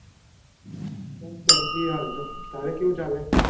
બસ શાંતિ હે હાલ તો તારે કેવું ચાલે?